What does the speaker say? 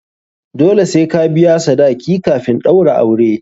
Dole sai ka biya sadaki kafin a ɗaura aure.